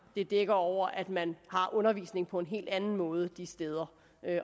dækker over at man har undervisning på en helt anden måde de steder